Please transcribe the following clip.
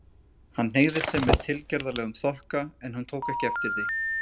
Hann hneigði sig með tilgerðarlegum þokka, en hún tók ekki eftir því.